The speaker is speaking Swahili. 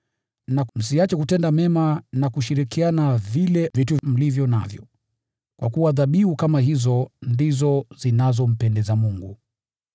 Na msiache kutenda mema na kushirikiana vile vitu mlivyo navyo, kwa kuwa dhabihu kama hizo ndizo zinazompendeza Mungu.